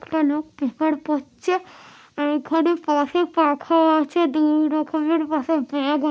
একটা লোক পেপার পড়ছে-এ এখানে পথে পাখা আছে দুই রকমের পাশে ব্যাগ--